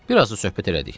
Bir az da söhbət elədik.